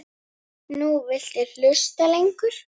Nú viltu hlusta lengur.